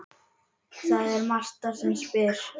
Það er Marta sem spyr.